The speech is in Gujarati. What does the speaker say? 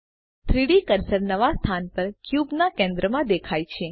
3ડી કર્સર નવા સ્થાન પર ક્યુબ ના કેન્દ્રમાં દેખાય છે